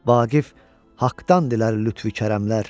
Vaqif haqdan dilər lütfü kərəmlər.